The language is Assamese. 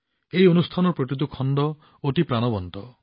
এই অনুষ্ঠানৰ প্ৰতিটো খণ্ড অতি প্ৰাণৱন্ত